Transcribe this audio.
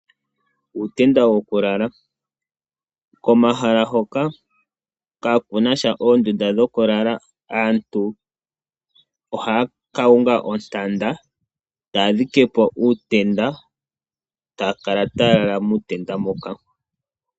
Uutenda wo kulala, komahala hoka kakunasha oondunda dhokulala aantu ohaya ka unga ontanda taya dhike po uutenda, taya kala taya lala muutenda moka.